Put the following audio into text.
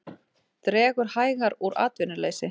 Dregur hægar úr atvinnuleysi